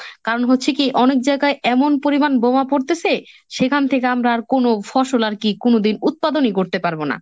কারণ হচ্ছে কি অনেক জায়গায় এমন পরিমান বোমা পড়তেসে, সেখান থেকে আমরা আর কোনো ফসল আর কি কোনোদিন উৎপাদনই করতে পারবো না।